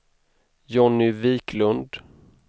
Johnny Viklund